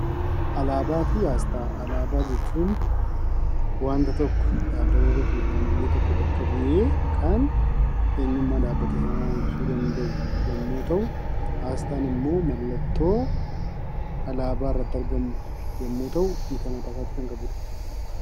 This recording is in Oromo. Alaabaa fi Aasxaa: Alaabaa jechuun dhaabbata tokko yookaan biyya tokko bakka bu'ee kan eenyummaa dhaabbata sanaa ibsuu danda’u yommuu ta'u, aasxaan immoo mallattoo alaabaa irratti argamu yommuu ta'u hiika mataa isaatii kan qabudha.